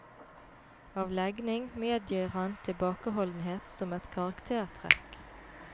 Av legning medgir han tilbakeholdenhet som et karaktertrekk.